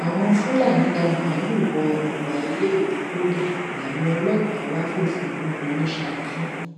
àwọn fúlàní dá màálùú wọ ọgbà iléèwé poli làwọn ọlọpàá bá fòfin mú wọn ní saki